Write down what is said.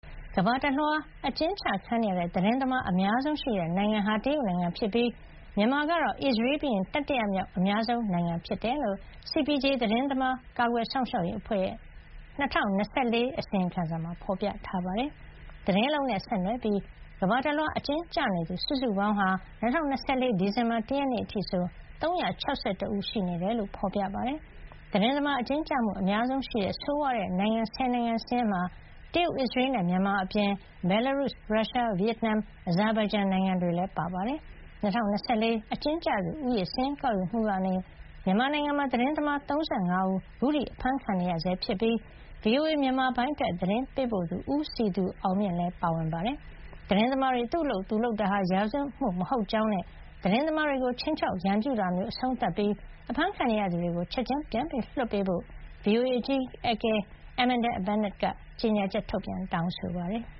ကမ္ဘာတလွှား အကျဉ်းချ ခံနေရတဲ့ သတင်းသမား အများဆုံးရှိတဲ့ နိုင်ငံဟာ တရုတ်နိုင်ငံဖြစ်ပြီး မြန်မာကတော့ အစ္စရေးပြီးရင် တတိယမြောက် အများဆုံး နိုင်ငံ ဖြစ်ကြောင်း CPJ သတင်းသမား ကာကွယ်စောင့်ရှောက်ရေး အဖွဲ့ရဲ့ ၂၀၂၄ ခုနှစ် အစီရင်ခံစာမှာ ဖေါ်ပြထားပါတယ်။ သတင်းအလုပ်နဲ့ ဆက်နွယ်ပြီး ကမ္ဘာတလွှား အကျဉ်းကျနေသူ စုစုပေါင်းဟာ ၂၀၂၄ ဒီဇင်ဘာ ၁ ရက်နေ့ အထိဆို ၃၆၁ ဦး ရှိနေတယ်လို့ ဖေါ်ပြပါတယ်။ သတင်းသမား အကျဉ်းကျမှု အများဆုံးရှိတဲ့ ဆိုးဝါးတဲ့ နိုင်ငံ ၁၀ နိုင်ငံ စာရင်းထဲမှာ တရုတ်၊ အစ္စရေးနဲ့ မြန်မာ အပြင် ဘယ်လာရုစ်၊ ရုရှား၊ ဗီယက်နမ်၊ အဇာဘိုင်ဂျန်နိုင်ငံ တွေလည်း ပါဝင်ပါတယ်။ ၂၀၂၄ အကျဉ်းကျသူ ဦးရေ စာရင်းကောက်ယူမှုကနေ မြန်မာနိုင်ငံမှာ သတင်းသမား ၃၅ ဦး အခုထိ အဖမ်းဆီးခံနေရဆဲ ဖြစ်ပြီး VOA မြန်မာပိုင်း အတွက် သတင်းပေးပို့သူ ဦးစည်သူအောင်မြင့် လည်း ပါဝင်နေတာပါ။ သတင်းသမားတွေ သူ့အလုပ်သူလုပ်တာဟာ ရာဇဝတ်မှု မဟုတ်ကြောင်းနဲ့ သတင်းသမားတွေကို ခြိမ်းခြောက် ရန်ပြုတာမျိုး အဆုံးသတ် ပြီး အဖမ်းခံနေရသူတွေကို ချက်ချင်း လွှတ်ပေးဖို့ VOA အကြီးအကဲ Amanda Bennett က ကြေညာချက် ထုတ်ပြန်တောင်းဆိုပါတယ်။